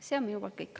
See on minu poolt kõik.